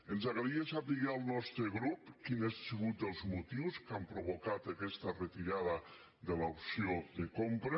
ens agradaria saber al nostre grup quins han sigut els motius que han provocat aquesta retirada de l’op·ció de compra